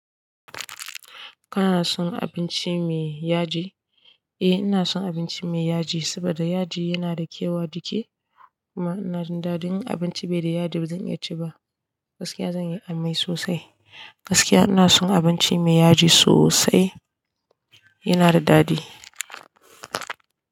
Kana son abinci me yaji? Eh ina son abinci me yaji, saboda yaji yana da kyau a jiiki kuma ina jin daɗin. In abinci bai da yaji ba zan iya ci ba. Gaskiya zan yi amai sosai. Gaskiya ina son abinci me yaji sosai, yana da daɗi.